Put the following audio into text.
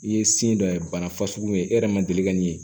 I ye sin dɔ ye bana fasugu ye e yɛrɛ ma deli ka min ye